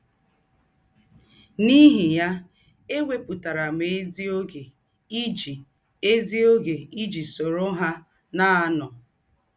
N’íhì yá, ėwèpụ̀tàrà m ézìógè iji ézìógè iji sòrò hà na - ànọ̀.